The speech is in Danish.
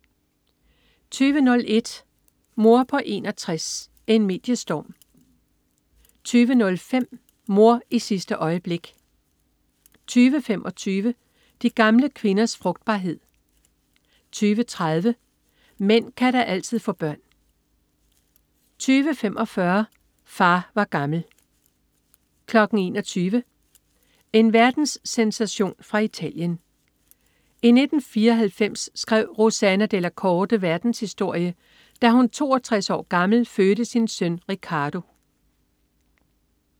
20.01 Mor på 61: En mediestorm 20.05 Mor i sidste øjeblik 20.25 De gamle kvinders frugtbarhed 20.30 Mænd kan da altid få børn 20.45 Far var gammel 21.00 En verdenssensation fra Italien. I 1994 skrev Rossana Della Corte verdenshistorie, da hun 62 år gammel fødte sin søn Riccardo